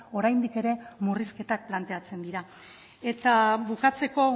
oraindik ere murrizketak planteatzen dira eta bukatzeko